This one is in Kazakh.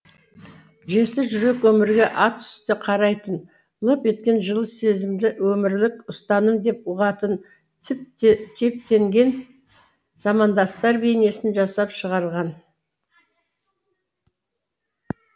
жесір жүрек өмірге атүсті қарайтын лып еткен жылы сезімді өмірлік ұстаным деп ұғатын типтенген замандастар бейнесін жасап шығарған